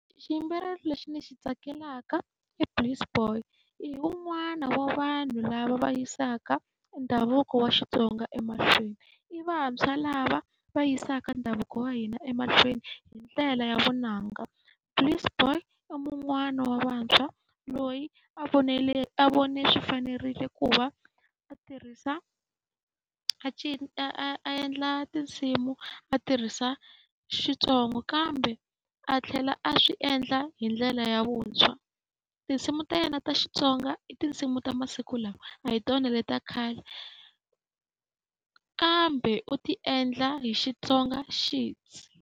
Xiyimbeleri lexi ndzi xi tsakelaka i Price Boy. I wun'wana wa vanhu lava va yisaka ndhavuko wa Xitsonga emahlweni. I vantshwa lava va yisaka ndhavuko wa hina emahlweni hi ndlela ya vunanga Price Boy i mun'wani wa vantshwa loyi a a vone swi fanerile ku va a tirhisa a endla tinsimu a tirhisa Xitsonga, kambe a tlhela a swi endla hi ndlela ya vuntshwa. Tinsimu ta yena ta Xitsonga i tinsimu ta masiku lawa a hi tona letiya ta khale, kambe u ti endla hi Xitsongaxidzi.